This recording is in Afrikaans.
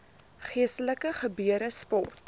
geestelike gebeure sport